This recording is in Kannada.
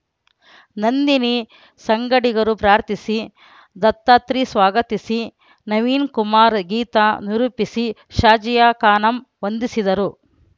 ನಂದಿನಿ ಸಂಗಡಿಗರು ಪ್ರಾರ್ಥಿಸಿ ದತ್ತಾತ್ರಿ ಸ್ವಾಗತಿಸಿ ನವೀನಕುಮಾರ್‌ ಗೀತಾ ನಿರೂಪಿಸಿ ಶಾಜಿಯಾ ಖಾನುಂ ವಂದಿಸಿದರು